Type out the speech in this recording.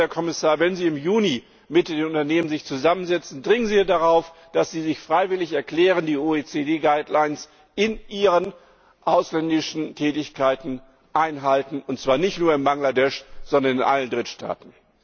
Also, Herr Kommissar Wenn Sie sich im Juni mit den Unternehmen zusammensetzen, dringen Sie darauf, dass diese sich freiwillig bereiterklären, die OECD Leitlinien in ihren ausländischen Tätigkeiten einzuhalten, und zwar nicht nur in Bangladesch, sondern in allen Drittstaaten!